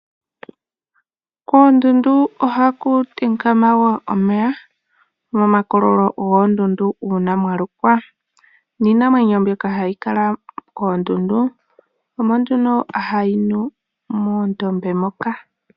Koondundu ohaku tekama yo omeya momakololo goondundu uuna mwa lokwa niinamwenyo mbyoka hayi kala koondundu omo nduno hayi nu moondombe moka.